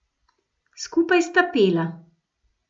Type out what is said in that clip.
Skupaj sta pela.